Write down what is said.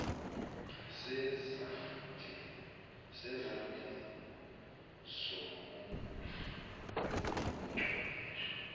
sezandleni zomuntu onobuchwepheshe